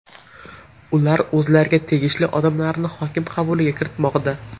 Ular o‘zlariga tegishli odamlarni hokim qabuliga kiritmoqda.